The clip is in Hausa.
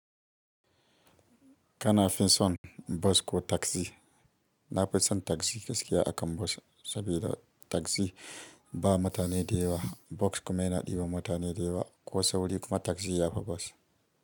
Kana fi son bus ko taxi? Nafison taxi gaskiya akan bus sabida taxi ba mutane da yewa Bus kuma yana ɗiba mutane da yewa, ko sauri kuma taxi ya fi bus.